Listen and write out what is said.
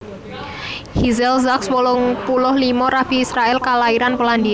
Hillel Zaks wolung puluh limo Rabi Israèl kalairan Polandia